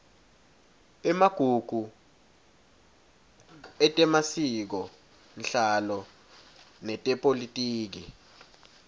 emagugu etemasikonhlalo netepolitiki